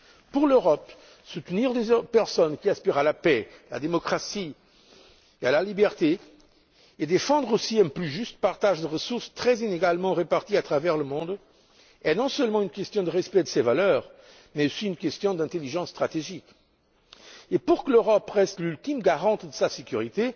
Pour l'Europe, soutenir les personnes qui aspirent à la paix, à la démocratie et à la liberté et défendre aussi un plus juste partage de ressources très inégalement réparties à travers le monde est non seulement une question de respect de ses valeurs mais aussi une question d'intelligence stratégique. Et pour que l'Europe reste l'ultime garante de sa sécurité,